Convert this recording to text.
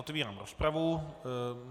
Otevírám rozpravu.